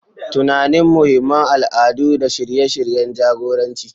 Tunanin muhimman al'adu da shirye-shiryen jagoranci.